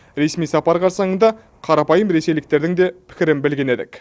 ресми сапар қарсаңында қарапайым ресейліктердің де пікірін білген едік